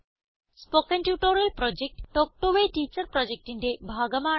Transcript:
spoken tutorial project talk to a teacher പ്രൊജക്റ്റിന്റെ ഭാഗമാണ്